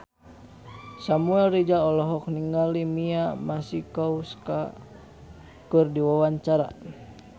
Samuel Rizal olohok ningali Mia Masikowska keur diwawancara